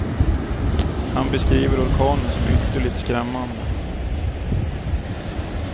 Han beskriver orkanen som ytterligt skrämmande.